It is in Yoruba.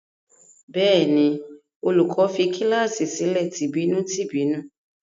Bẹ́ẹ̀ ni, olùkọ́ní fi kíláàsì sílẹ̀ tìbínú-tìbínú.